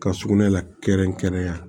Ka sugunɛ la kɛrɛnkɛrɛn yan